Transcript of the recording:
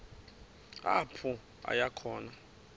apho aya khona